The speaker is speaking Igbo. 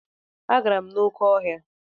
Agara m n'oké ọhịa.